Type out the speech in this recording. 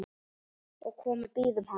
og komu bíðum hans